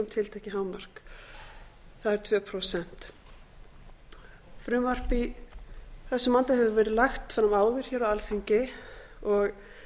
tiltekið hámark það er tvö prósent frumvarp í þessum anda hefur verið lagt fram áður hér á alþingi og